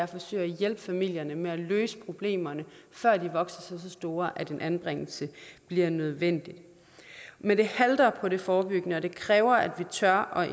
forsøge at hjælpe familien med at løse problemerne før de vokser sig så store at anbringelse bliver nødvendigt men det halter med det forebyggende arbejde og det kræver at vi tør